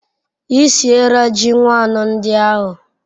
I siera ji nwannu ndi ahu